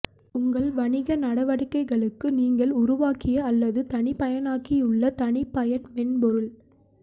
உங்கள் வணிக நடவடிக்கைகளுக்கு நீங்கள் உருவாக்கிய அல்லது தனிப்பயனாக்கியுள்ள தனிப்பயன் மென்பொருள்